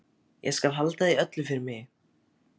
Ég skal halda því öllu fyrir mig.